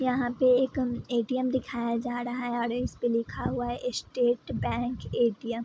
यहाँ पे एक ए.टी.एम. दिखाया जा रहा है और इसपे लिखा हुआ है स्टेट बैंक ए.टी.एम. ।